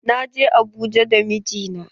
Na je Abuja da mijina.